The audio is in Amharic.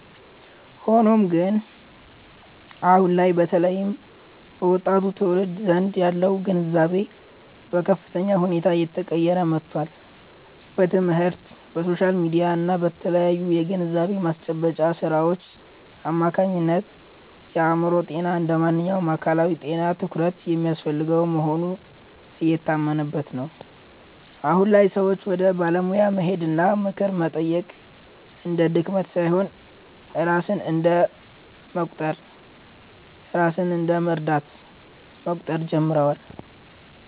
ሆኖም ግን፣ አሁን ላይ በተለይም በወጣቱ ትውልድ ዘንድ ያለው ግንዛቤ በከፍተኛ ሁኔታ እየተቀየረ መጥቷል። በትምህርት፣ በሶሻል ሚዲያ እና በተለያዩ የግንዛቤ ማስጨበጫ ሥራዎች አማካኝነት የአእምሮ ጤና እንደ ማንኛውም አካላዊ ጤና ትኩረት የሚያስፈልገው መሆኑ እየታመነበት ነው። አሁን ላይ ሰዎች ወደ ባለሙያ መሄድና ምክር መጠየቅ እንደ ድክመት ሳይሆን ራስን እንደ መርዳት መቁጠር ጀምረዋል።